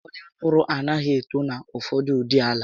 Ụfọdụ mkpụrụ anaghị eto na ụfọdụụdị àlà